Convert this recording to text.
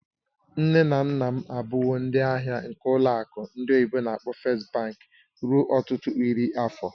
Nne na nna m abụwo ndị ahịa nke ụlọ akụ ndị oyibo n'akpọ "First Bank" ruo ọtụtụ iri afọ.